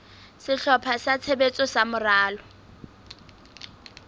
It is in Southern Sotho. sehlopha sa tshebetso sa moralo